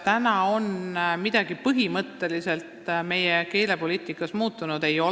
Kas täna on midagi põhimõtteliselt meie keelepoliitikas muutunud?